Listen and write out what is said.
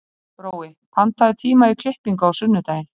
Brói, pantaðu tíma í klippingu á sunnudaginn.